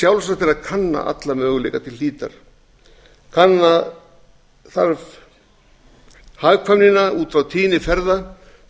er að kanna alla möguleika til hlítar kanna þarf hagkvæmnina út frá tíðni ferða